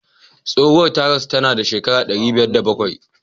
Tsohuwar ta rasu tana da shekara ɗari biyar da bakwai.